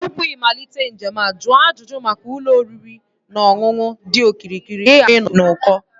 Tupu ịmalite njem a, jụọ ajụjụ maka ụlọ oriri na ọṅụṅụ dị okirikiri ka ịghara ịnọ n'uko